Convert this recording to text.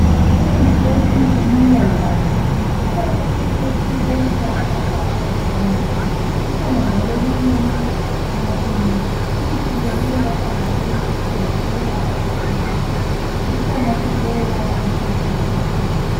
Imithi yesintu imila loba ngaphi. Ikhona imithi yesintu emila phakathi laphakathi kwamatshe. Ikhona njalo eminye emila emasimini. Imithi le iyelapha kakhulu iqolo ,iyelapha futhi isifuba. Ikhona futhi eyelapha isisu esibuhlungu.